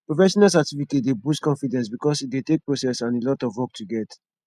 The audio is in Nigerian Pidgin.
professional certificate dey boost confidence because e dey take process and alot of work to get